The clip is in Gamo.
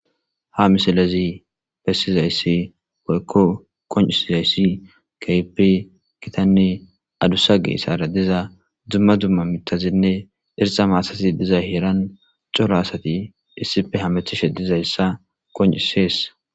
ha misilezi bessizayssi woykko qoncisizayssi kehipi gitanne adussa geesara diza dumma dumma mitazinne irxa maatazi diza heeran cora asati issife hamethishe dizayssa qoncisees